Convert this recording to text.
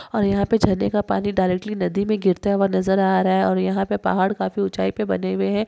और यहाँ पर झरने का पानी डायरेक्टली नदी मे गिरते हुए नजर आ रहा है और यहाँ पे पहाड़ काफी ऊंचाई पे बने हुए है।